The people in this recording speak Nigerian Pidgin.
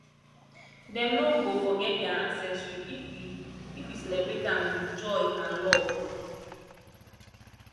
dem no go forget their ancestry if we if we celebrate am with joy and love